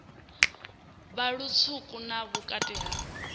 vha lutswuku vha vhukati ha